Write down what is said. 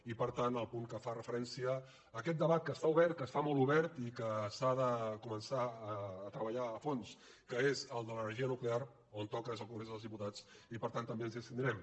i per tant el punt que fa referència a aquest debat que està obert que està molt obert i que s’ha de començar a treballar a fons que és el de l’energia nuclear on toca és al congrés dels diputats i per tant també ens hi abstindrem